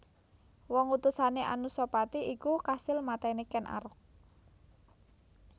Wong utusané Anusapati iku kasil matèni Ken Arok